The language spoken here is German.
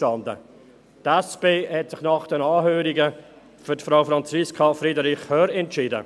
Die SP hat sich nach den Anhörungen für Frau Franziska Friederich Hörr entschieden.